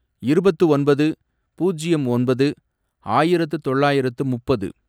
இருபத்து ஒன்பது, பூஜ்யம் ஒன்பது, ஆயிரத்து தொள்ளாயிரத்து முப்பது